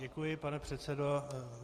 Děkuji, pane předsedo.